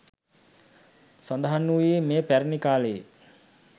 සඳහන් වූයේ මෙය පැරැණි කාලයේ